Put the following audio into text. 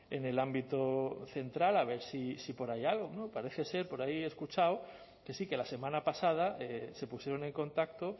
en el ámbito central a ver si por ahí hay algo no parece ser por ahí he escuchado que sí que la semana pasada se pusieron en contacto